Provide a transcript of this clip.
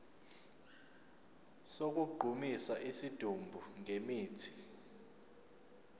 sokugqumisa isidumbu ngemithi